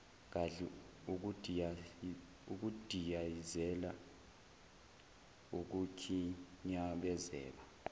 gadli ukudiyazela ukukhinyabezeka